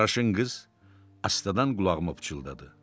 Qaraşın qız astadan qulağıma pıçıldadı.